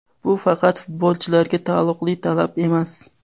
Bu faqat futbolchilarga taalluqli talab emas.